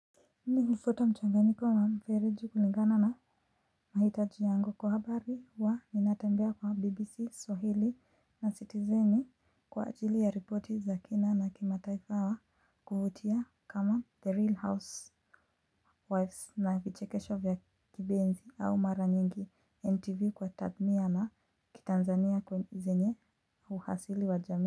Mi hufuata mchanganyiko kwa mfereji kulingana na mahitaji yangu. Kwa habari wa ninatembea kwa BBC, Swahili. Na Citizen kwa ajili ya ripoti za kina na kimataifa wa kuvutia kama 'The Real Housewives' na vichekesho vya kibenzi au mara nyingi NTV kwa tadmia na kitanzania zenye uhasili wa jamii.